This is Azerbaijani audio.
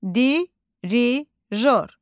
Dirijor.